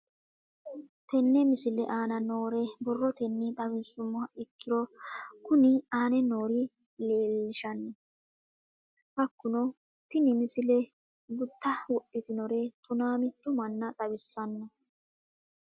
Tenne misile aana noore borrotenni xawisummoha ikirro kunni aane noore leelishano. Hakunno tinni misile gutta wodhitinorre tonaa mitto manna xawissanno.